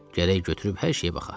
Gərək götürüb hər şeyə baxa.